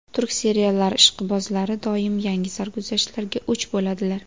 Turk seriallari ishqibozlari doim yangi sarguzashtlarga o‘ch bo‘ladilar.